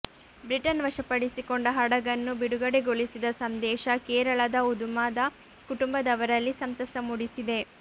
Britain ವಶಪಡಿಸಿಕೊಂಡ ಹಡಗನ್ನು ಬಿಡುಗಡೆಗೊಳಿಸಿದ ಸಂದೇಶ ಕೇರಳದ ಉದುಮದ ಕುಟುಂಬದವರಲ್ಲಿ ಸಂತಸ ಮೂಡಿಸಿದೆ